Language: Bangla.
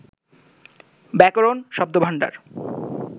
ব্যাকরণ, শব্দভাণ্ডার